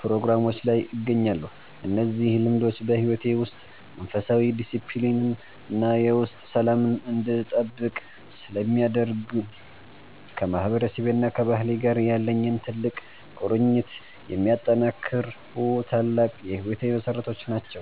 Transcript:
ፕሮግራሞች ላይ እገኛለሁ። እነዚህ ልምዶች በሕይወቴ ውስጥ መንፈሳዊ ዲስፕሊንን እና የውስጥ ሰላምን እንድጠብቅ ስለሚያደርጉኝ፣ ከማህበረሰቤና ከባህሌ ጋር ያለኝን ጥልቅ ቁርኝት የሚያጠናክሩ ታላቅ የሕይወቴ መሠረቶች ናቸው።